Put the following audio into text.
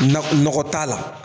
Na nɔgɔ t'a la